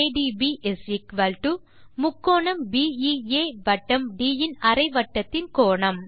∠ADB ∠BEA வட்டம் ட் இன் அரை வட்டத்தின் கோணம்